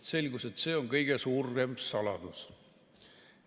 Selgus, et see on kõige suurem saladus.